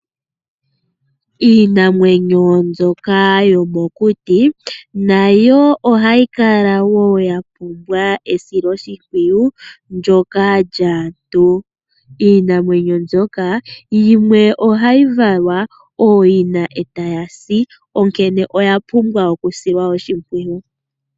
Iinamwenyo mbyoka yomokuti nayo oha yi kala woo ya pumbwa esiloshimpwiyu ndjoka lyaantu. Iinamwenyo mbyoka, yimwe oha yivalwa ooyina eta yasi onkene oya pumbwa oku silwa oshimpwiyu.